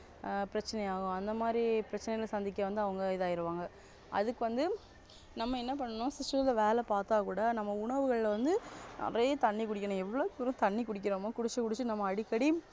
ஆஹ் பிரச்சனை ஆகும் அந்த மாதிரி பிரச்சனைகள் சந்திக்க வந்து அவங்க இதாகிருவாங்க அதுக்கு வந்து நம்ம என்ன பண்ணணும்னா system த்துல வேலை பாத்தா கூட நம்ம உணவுகளில வந்து நிறைய தண்ணி குடிக்கணும் எவ்வளவு கூட தண்ணி குடிக்குறோமோ குடிச்சு முடிச்சுட்டு நம்ம அடிக்கடி